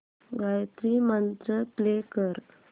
Gayatri Mantra play कर